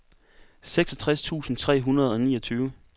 seksogtres tusind tre hundrede og niogtyve